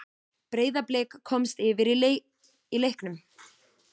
Breiðablik komst yfir í leiknum.